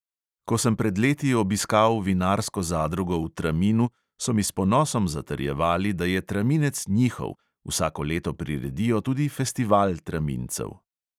Ko sem pred leti obiskal vinarsko zadrugo v traminu, so mi s ponosom zatrjevali, da je traminec njihov, vsako leto priredijo tudi festival tramincev.